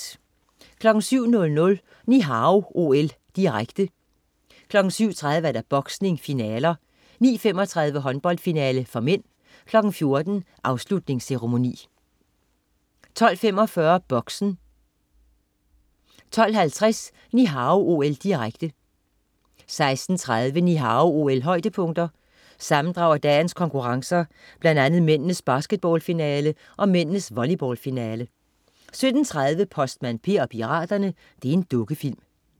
07.00 Ni Hao OL, direkte. 7.30: Boksning, finaler. 9.35: Håndboldfinale (m). 14.00: Afslutningsceremoni 12.45 Boxen 12.50 Ni Hao OL, direkte 16.30 Ni Hao OL-højdepunkter. Sammendrag af dagens konkurrencer, blandt andet mændenes basketballfinale og mændenes volleyballfinale 17.30 Postmand Per og piraterne. Dukkefilm